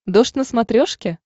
дождь на смотрешке